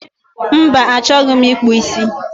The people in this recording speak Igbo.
Mba, achọghị m ịkpụ ísí